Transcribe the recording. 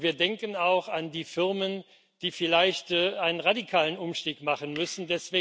Und wir denken auch an die Firmen, die vielleicht einen radikalen Umstieg machen müssen.